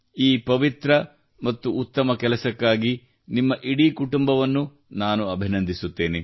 ಈ ಪವಿತ್ರ ಮತ್ತು ಉತ್ತಮ ಕೆಲಸಕ್ಕಾಗಿ ನಿಮ್ಮ ಇಡೀ ಕುಟುಂಬವನ್ನು ನಾನು ಅಭಿನಂದಿಸುತ್ತೇನೆ